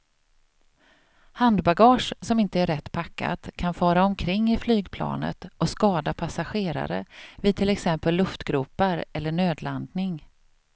Handbagage som inte är rätt packat kan fara omkring i flygplanet och skada passagerare vid till exempel luftgropar eller nödlandning.